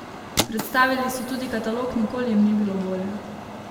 Predstavili so tudi katalog Nikoli jim ni bilo bolje?